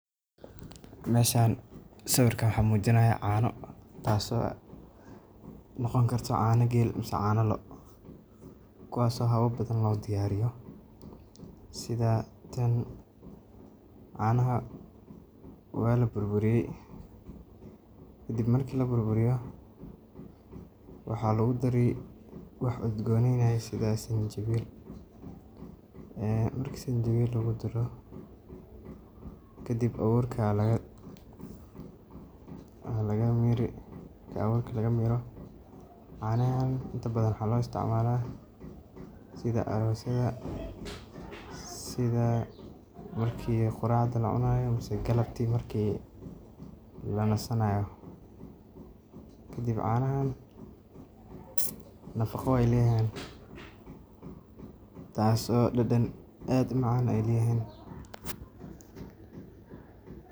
Meshan sawirkan waxa mujinaya caano taas oo noqon karto caano geel mse caano lo kuwas oo xawab badan lodiyarin karo sida tan canaxa wala burburiye kadib marki la burburiyo waxa lagu dari wax udgoneynayo sida sanjawil ehh marki sanjawil lagudaro kadib aawurka aya laga miri marka awurka lagamiro canaxan inta badan waxa loo isticmala sida aroos yada, sida marki quracda lacunayo mase galabti marki lanasanayo kadib canaxan nafaqo aya leyaxan taas oo dadan aad umacan ayay leyaxan.